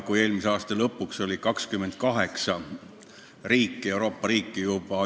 Eelmise aasta lõpuks oli sellega ühinenud 28 Euroopa riiki.